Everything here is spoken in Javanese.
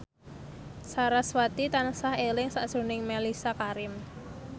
sarasvati tansah eling sakjroning Mellisa Karim